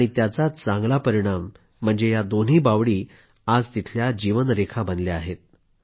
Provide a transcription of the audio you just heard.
आणि त्याचाच चांगला परिणाम म्हणजे या दोन्ही बावडी आज तिथल्या जीवनरेखा बनल्या आहेत